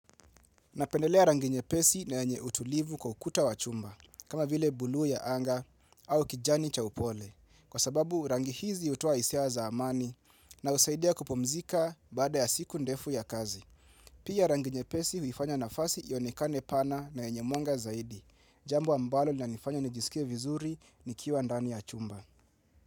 Napendelea rangi nyepesi na yenye utulivu kwa ukuta wa chumba, kama vile buluu ya anga au kijani cha upole. Kwa sababu rangi hizi hutoa hisia za amani na husaidia kupumzika baada ya siku ndefu ya kazi. Pia rangi nyepesi huifanya nafasi ionekane pana na yenye mwanga zaidi. Jambo ambalo linanifanya nijisikie vizuri nikiwa ndani ya chumba.